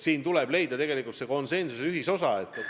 Siin tuleb leida konsensus ja ühisosa.